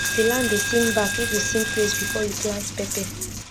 the land dey sing back if you sing praise before you plant pepper